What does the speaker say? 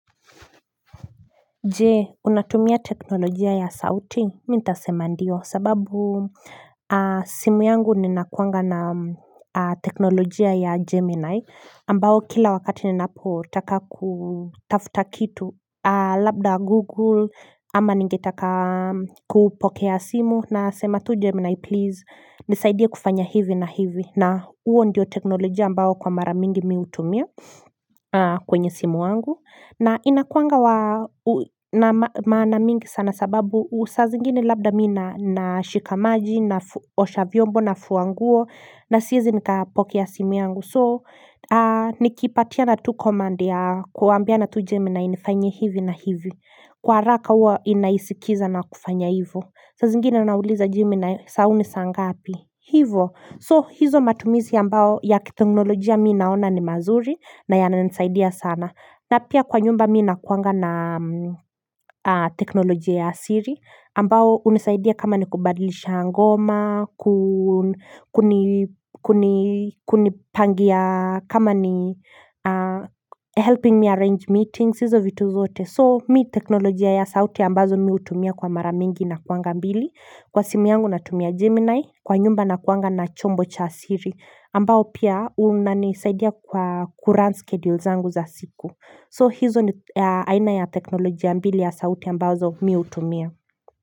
Jee, unatumia teknolojia ya sauti? Mimi nitasema ndio sababu simu yangu ninakuanga na teknolojia ya Gemini ambao kila wakati ninapotaka kutafuta kitu Labda Google ama ningetaka kupokea simu na sema tu Gemini please nisaidia kufanya hivi na hivi na huo ndio teknolojia ambao kwa mara mingi mimi hutumia kwenye simu wangu na inakuangawa na maana mingi sana sababu saa zingine labda mimi nashika maji naosha vyombo nafua nguo na siezi nikapokea ya simu yangu So nikipatiana tu command ya kuambia na tu jemina inifanyie hivi na hivi Kwa haraka huwa inaisikiza na kufanya hivo saa zingine unauliza GeminaI saa huu ni saa ngapi Hivo so hizo matumizi ambao ya kiteknolojia mimi naona ni mazuri na yana nisaidia sana na pia kwa nyumba mimi na kuanga na teknolojia ya siri ambao unisaidia kama ni kubadilisha ngoma Kunipangia kama ni helping me arrange meetings hizo vitu zote So mi teknolojia ya sauti ambazo mi utumia kwa mara mingi na kuanga mbili Kwa simu yangu natumia Gemini Kwa nyumba na kuanga na chombo cha siri ambao pia unisaidia kwa kurun schedule zangu za siku So hizo ni aina ya teknoloji ya mbili ya sauti ya mbazo mimi hutumia.